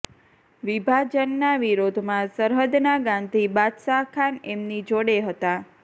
વિભાજનના વિરોધમાં સરહદના ગાંધી બાદશાહ ખાન એમની જોડે હતા